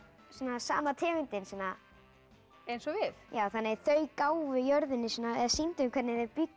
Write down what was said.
sama tegundin eins og við þannig að þau gáfu jörðinni eða sýndu hvernig þau bjuggu